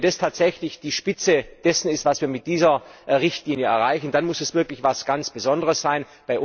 Wenn das tatsächlich die Spitze dessen ist, was wir mit dieser Richtlinie erreichen, dann muss es wirklich etwas ganz Besonderes sein.